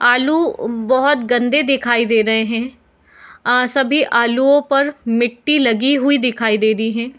आलू बहुत गंदे दिखाई दे रहे है आ सभी आलुओं पर मिट्टी लगी हुई दिखाई दे रही है।